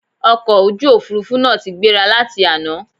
Ọkọ̀ ojú òfurufú náà ti gbéra láti àná